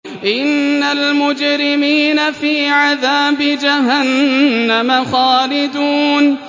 إِنَّ الْمُجْرِمِينَ فِي عَذَابِ جَهَنَّمَ خَالِدُونَ